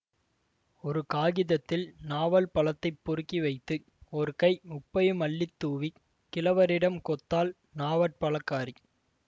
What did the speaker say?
ஒரு காகிதத்தில் நாவல்பழத்தைப் பொறுக்கி வைத்து ஒரு கை உப்பையும் அள்ளி தூவிக் கிழவரிடம் கொத்தாள் நாவற்பழக்காரி